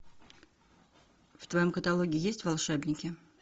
в твоем каталоге есть волшебники